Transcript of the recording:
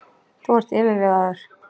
Þú ert yfirvegaður.